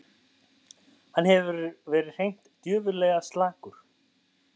Hann hefur verið hreint djöfullega slakur